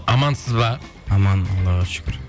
амансыз ба аман аллаға шүкір